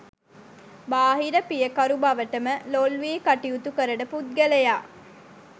බාහිර පියකරු බවට ම ලොල් වී කටයුතු කරන පුද්ගලයා